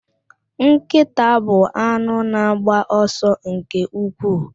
Nkịta bụ anụ na-agba ọsọ nke ukwuu.